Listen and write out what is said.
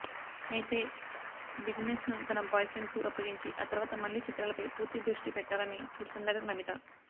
అయితే బిజినెస్ను తన బాయ్ ఫ్రెండ్కు అప్పగించి ఆ తర్వాత మళ్లీ చిత్రాలపై పూర్తి దృష్టి పెట్టాలని చూస్తుందంట నమిత